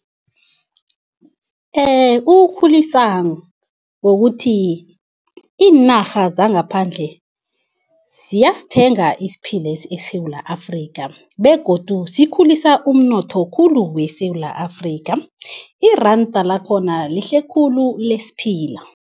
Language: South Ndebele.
Ukukhulisa ngokuthi iinarha zangaphandle siyasithenga isiphilesi eSewula Afrika begodu sikhulisa umnotho khulu weSewula Afrika. Iranda lakhona lihle khulu lesiphila.